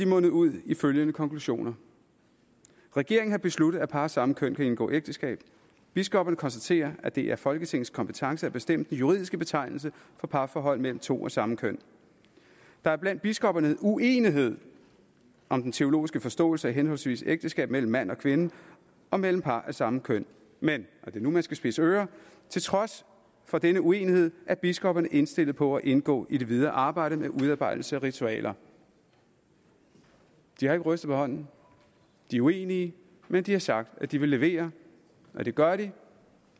mundet ud i følgende konklusioner regeringen har besluttet at par af samme køn kan indgå ægteskab biskopperne konstaterer at det er folketingets kompetence at bestemme de juridiske betegnelser for parforhold mellem to af samme køn der er blandt biskopperne uenighed om den teologiske forståelse af henholdsvis ægteskab mellem mand og kvinde og mellem par af samme køn men og det er nu man skal spidse ører til trods for denne uenighed er biskopperne indstillet på at indgå i det videre arbejde med udarbejdelse af ritualer de har ikke rystet på hånden de er uenige men de har sagt at de vil levere og det gør de